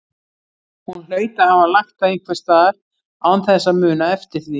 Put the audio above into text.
Hún hlaut að hafa lagt það einhvers staðar án þess að muna eftir því.